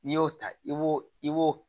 N'i y'o ta i b'o i b'o